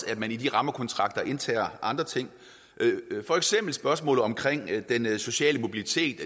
at man i de rammekontrakter medtager andre ting for eksempel spørgsmålet om den sociale mobilitet